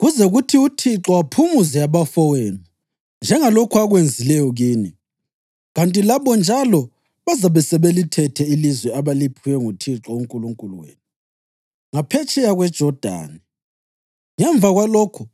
kuze kuthi uThixo aphumuze abafowenu njengalokhu akwenzileyo kini, kanti labo njalo bazabe sebelithethe ilizwe abaliphiwe nguThixo uNkulunkulu wenu, ngaphetsheya kweJodani. Ngemva kwalokho,